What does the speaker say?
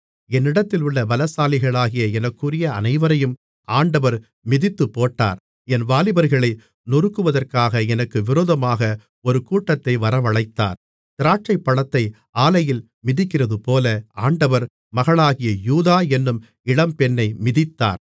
என்னிடத்திலுள்ள பலசாலிகளாகிய எனக்குரிய அனைவரையும் ஆண்டவர் மிதித்துப்போட்டார் என் வாலிபர்களை நொறுக்குவதற்காக எனக்கு விரோதமாக ஒரு கூட்டத்தை வரவழைத்தார் திராட்சைப்பழத்தை ஆலையில் மிதிக்கிறதுபோல ஆண்டவர் மகளாகிய யூதா என்னும் இளம்பெண்ணை மிதித்தார்